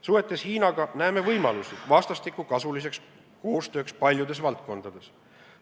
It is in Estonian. Suhetes Hiinaga näeme võimalusi vastastikku kasulikuks koostööks paljudes valdkondades.